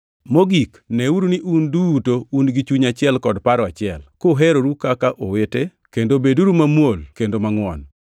Mogik, neuru ni un duto un gi chuny achiel kod paro achiel, kuheroru kaka owete, kendo beduru mamuol kendo mangʼwon.